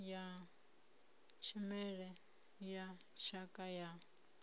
ya tshimela na tshakha ya